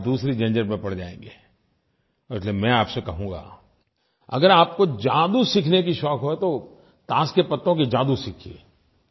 फिर आप दूसरी झंझट में पड़ जायेंगे और इसलिये मैं आपसे कहूँगा अगर आपको जादू सीखने का शौक हो तो ताश के पत्तों की जादू सीखिए